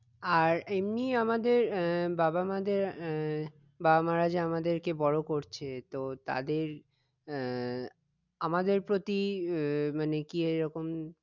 আর এমনি আমাদের আহ বাবা মাদের আহ বাবা মারা যে আমাদেরকে বড় করছে তো তাদের আহ আমাদের প্রতি আহ মানে কি এইরকম